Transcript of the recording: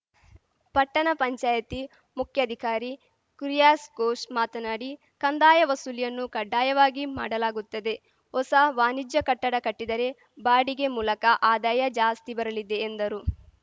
ಪಟ್ಟಣ ಪಂಚಾಯಿತಿ ಮುಖ್ಯಾಧಿಕಾರಿ ಕುರಿಯಾಸ್ ಕೋಸ್‌ ಮಾತನಾಡಿ ಕಂದಾಯ ವಸೂಲಿಯನ್ನು ಕಡ್ಡಾಯವಾಗಿ ಮಾಡಲಾಗುತ್ತದೆ ಹೊಸ ವಾಣಿಜ್ಯ ಕಟ್ಟಡ ಕಟ್ಟಿದರೆ ಬಾಡಿಗೆ ಮೂಲಕ ಆದಾಯ ಜಾಸ್ತಿ ಬರಲಿದೆ ಎಂದರು